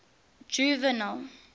juvenal